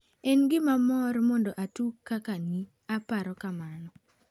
"En gima mor mondo atug kaka ni, aparo kamano".